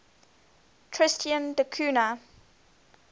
tristan da cunha